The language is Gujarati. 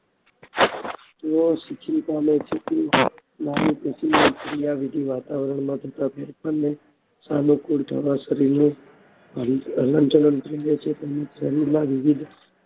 તેઓ વાતાવરણ માં થતા ફેરફાર ને સાનુકૂળ થવા શરીરને હલન ચલન થાય છે શરીરમાં વિવિધ